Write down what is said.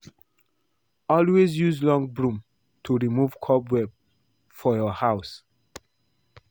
Always use long broom to remove cobweb from your house